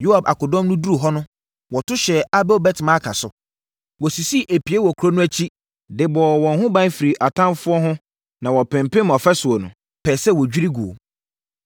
Yoab akodɔm no duruu hɔ no, wɔto hyɛɛ Abel-Bet-Maaka so. Wɔsisii epie wɔ kuro no akyi, de bɔɔ wɔn ho ban firii atamfoɔ ho na wɔpempem afasuo no, pɛɛ sɛ wɔdwiri guo.